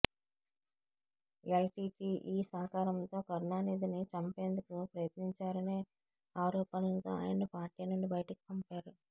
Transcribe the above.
L T T E సహకారంతో కరుణానిధిని చంపేందుకు ప్రయత్నించారనే ఆరోపణలతో ఆయనను పార్టీ నుండి బయటకు పంపారు